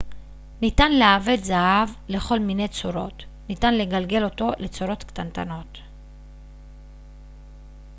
ניתן לעבד זהב לכל מיני צורות ניתן לגלגל אותו לצורות קטנטנות